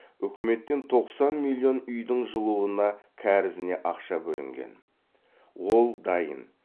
үкіметтен тоқсан миллион үйдің жылуына кәрізіне ақша бөлінген ол дайын